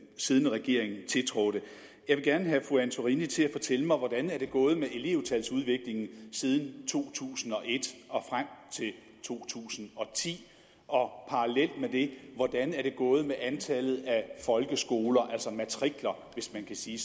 siddende regering tiltrådte jeg vil gerne have fru christine antorini til at fortælle mig hvordan det er gået med elevtalsudviklingen siden to tusind og et og frem til to tusind og ti og parallelt med det hvordan er det gået med antallet af folkeskoler altså matrikler hvis man kan sige